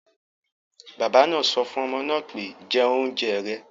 Bàbá náà sọ fún ọmọ náà pé, 'jẹ oúnjẹ rẹ̀'